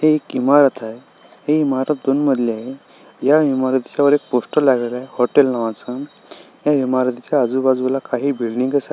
हि एक इमारत आहे. हि इमारत दोन मजली आहे. या इमारतीच्यावर एक पोस्टर लागलेलय हॉटेल नावाचं. या इमारतीच्या आजूबाजूला काही बिल्डिंग--